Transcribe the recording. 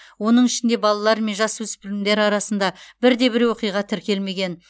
оның ішінде балалар мен жасөспірімдер арасында бірде бір оқиға тіркелмеген